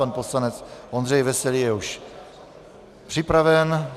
Pan poslanec Ondřej Veselý je už připraven.